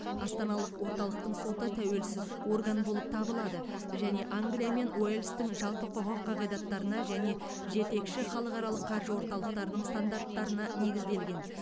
астаналық орталықтың соты тәуелсіз орган болып табылады және англия мен уэльстің жалпы құқық қағидаттарына және жетекші халықаралық қаржы орталықтарының стандарттарына негізделген